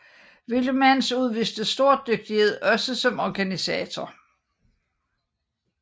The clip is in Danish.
Wielemans udviste stor dygtighed også som organisator